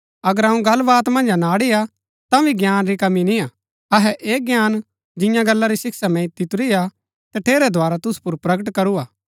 अगर अऊँ गल्लवात मन्ज अनाड़ी हा तांभी ज्ञान री कमी निय्आ अहै ऐह ज्ञान जियां गल्ला री शिक्षा मैंई दितुरी हा तठेरै द्धारा तुसु पुर प्रकट करू हा